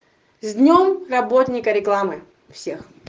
с днём работника рекламы всех